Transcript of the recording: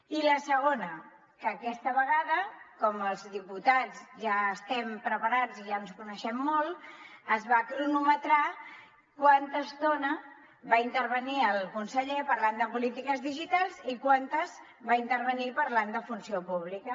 i la segona que aquesta vegada com que els diputats ja estem preparats i ja ens coneixem molt es va cronometrar quanta estona va intervenir el conseller parlant de polítiques digitals i quanta va intervenir parlant de funció pública